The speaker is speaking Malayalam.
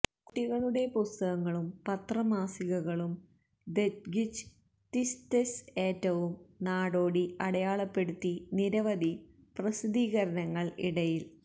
കുട്ടികളുടെ പുസ്തകങ്ങളും പത്രമാസികകളും ദെത്ഗിജ് ത്വിസ്തെര്സ് ഏറ്റവും നാടോടി അടയാളപ്പെടുത്തി നിരവധി പ്രസിദ്ധീകരണങ്ങൾ ഇടയിൽ